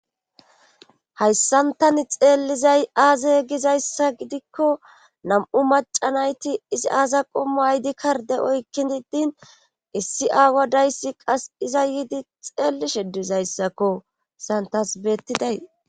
hayssan tani xeellizay aaza gizayssa gidikko nam7u macanayti izi aaza qommu aydi karde oykkin didin issi aawa dayssi qas iza yiidi xeellishe dizayssakko santasbeettiday